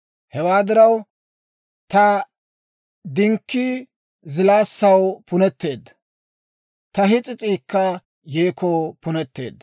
Hewaa diraw, ta dinkkii zilaassaw puneteedda; ta his'is'iikka yeekoo punetteedda.